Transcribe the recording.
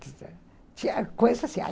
Tinha coisa assim.